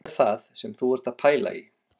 Hvað er það sem þú ert að pæla í